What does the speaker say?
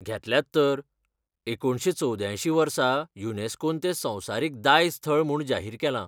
घेतल्यात तर, एकुणशे चौवद्यांयशी वर्सा युनेस्कोन तें संवसारीक दायज थळ म्हूण जाहीर केलां.